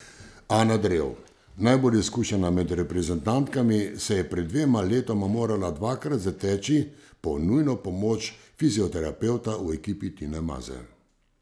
Ana Drev, najbolj izkušena med reprezentantkami, se je pred dvema letoma morala dvakrat zateči po nujno pomoč fizioterapevta v ekipi Tine Maze.